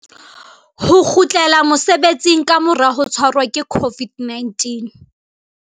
Ho kgutlela mosebetsing ka mora ho tshwarwa ke COVID-19